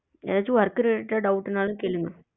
ஏதாச்சும் work related doubt னாலும் கேளுங்க